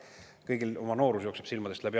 Kõigil jookseb noorus silmade eest läbi.